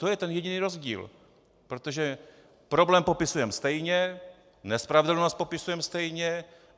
To je ten jediný rozdíl, protože problém popisujeme stejně, nespravedlnost popisujeme stejně.